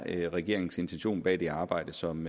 er regeringens intention bag det arbejde som